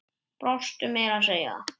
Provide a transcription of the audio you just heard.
Brostu meira að segja.